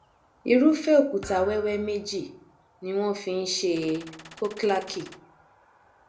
irúfẹ òkúta wẹwẹ méjì ni wọn fi nṣe khoklaki